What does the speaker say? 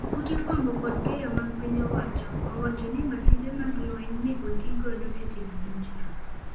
Ute fwambo kod keyo mag piny owacho owachoni masinde mag lweny ne otii godo e timo monj no.